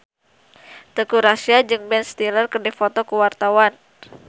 Teuku Rassya jeung Ben Stiller keur dipoto ku wartawan